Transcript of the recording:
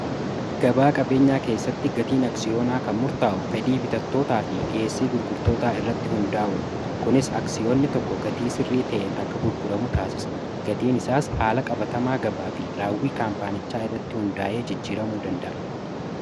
Gabaa qabeenyaa keessatti gatiin aksiyoonaa kan murtaa'u fedhii bitattootaa fi dhiheessii gurgurtoota irratti hundaa'uun kunis aksiyoonni tokko gatii sirrii ta'en akka gurguramu taasisa gatiin isaas haala qabatamaa gabaa fi raawwii kaampaanichaa irratti hundaa'ee jijjiramuu danda'a